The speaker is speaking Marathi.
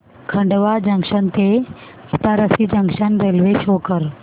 खंडवा जंक्शन ते इटारसी जंक्शन रेल्वे शो कर